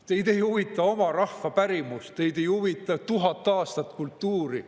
Teid ei huvita oma rahva pärimus, teid ei huvita 1000 aastat kultuuri.